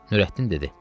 Nurəddin dedi: